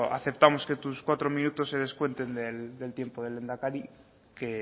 aceptamos que tus cuatro minutos se descuenten del tiempo del lehendakari que